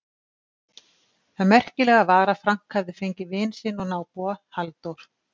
Það merkilega var að Frank hafði fengið vin sinn og nábúa, Halldór